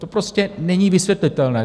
To prostě není vysvětlitelné.